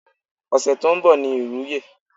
Ose tó ń bọ̀ ni ìwúye.